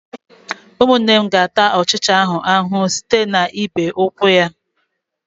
Ụmụnne m ga-ata ọchịcha ahụ ahụhụ site n'ịbe ụkwụ ya.